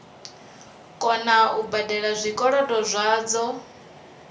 kona u badela zwikolodo zwadzo